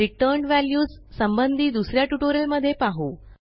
returned values संबंधी दुस या ट्युटोरियलमध्ये पाहू